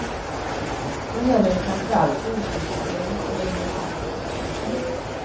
Då gäller det framför allt jordbruksstödet och regionalpolitiken.